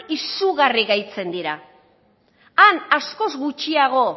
izugarri gaitzen dira han askoz gutxiago